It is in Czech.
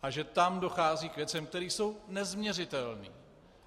A že tam dochází k věcem, které jsou nezměřitelné.